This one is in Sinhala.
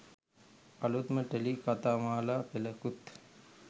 අලුත්ම ටෙලි කතාමාලා පෙළකුත්